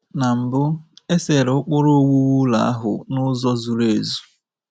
Na mbụ, e sere ụkpụrụ owuwu ụlọ ahụ n’ụzọ zuru ezu.